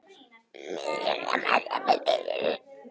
Samsíða geislum er beint að sameind sem er til skoðunar.